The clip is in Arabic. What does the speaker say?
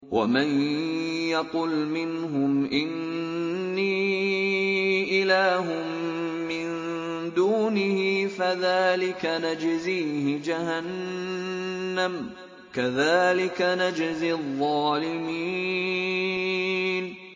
۞ وَمَن يَقُلْ مِنْهُمْ إِنِّي إِلَٰهٌ مِّن دُونِهِ فَذَٰلِكَ نَجْزِيهِ جَهَنَّمَ ۚ كَذَٰلِكَ نَجْزِي الظَّالِمِينَ